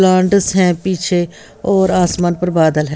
लांडस हैं पीछे और आसमान पर बादल हैं।